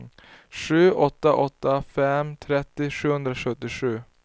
sju åtta åtta fem trettio sjuhundrasjuttiosju